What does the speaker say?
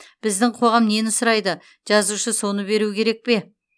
біздің қоғам нені сұрайды жазушы соны беру керек пе